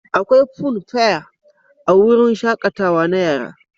Akwai funfair a wurin shaƙatawa na yara.